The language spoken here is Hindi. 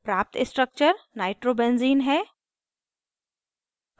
प्राप्त structure nitrobenzene नाइट्रो बेंज़ीन है